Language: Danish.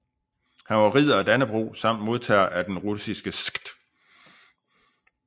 Han var Ridder af Dannebrog samt modtager af den russiske Skt